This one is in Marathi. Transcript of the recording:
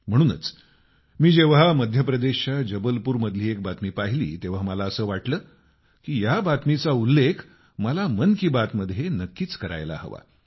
म्हणूनच मी जेव्हा मध्यप्रदेशच्या जबलपूर मधली एक बातमी पाहिली तेव्हा मला असं वाटलं की या बातमीचा उल्लेख मला मन की बात मध्ये नक्कीच करायला हवा